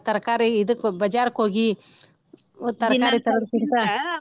ತರಕಾರಿ ಇದಕ್ಕ ಬಜಾರಕ ಹೋಗಿ ತರಕಾರಿ ತರೋದಕ್ಕಿಂತಾ .